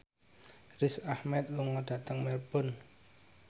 Riz Ahmed lunga dhateng Melbourne